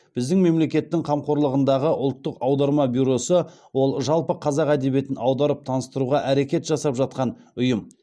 біздің мемлекеттің қамқорлығындағы ұлттық аударма бюросы ол жалпы қазақ әдебиетін аударып таныстыруға әрекет жасап жатқан ұйым